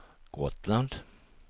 Gotland